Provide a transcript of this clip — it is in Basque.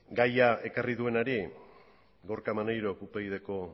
gaia ekarri duenak gorka maneirok upyd ko